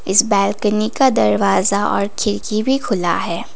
इस बालकनी का दरवाजा और खिड़की भी खुला है।